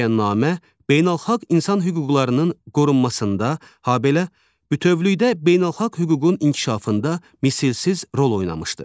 Bəyannamə beynəlxalq insan hüquqlarının qorunmasında, habelə bütövlükdə beynəlxalq hüququn inkişafında misilsiz rol oynamışdır.